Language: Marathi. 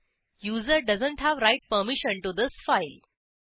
user doesn't have write permission to this file